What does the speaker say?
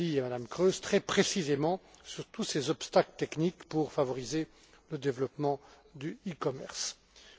M. Dalli et Mme Kroes, très précisément sur tous ces obstacles techniques pour favoriser le développement du e commerce.